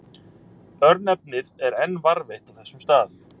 Örnefnið er enn varðveitt á þessum stað.